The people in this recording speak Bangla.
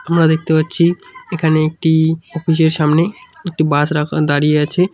আমরা দেখতে পাচ্ছি এখানে একটি-ই অফিসের সামনে একটি বাস রাখান দাঁড়িয়ে আছে।